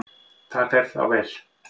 Þá fer það vel.